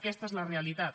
aquesta és la realitat